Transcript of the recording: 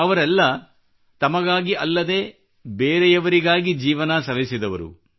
ಅವರೆಲ್ಲ ತಮಗಾಗಿ ಅಲ್ಲದೇ ಬೇರೆಯವರಿಗಾಗಿ ಜೀವನ ಸವೆಸಿದವರು